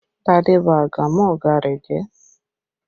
Tade ba àgàmú ọ̀gá ẹ jẹ́!